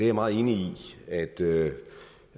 er meget enig i at det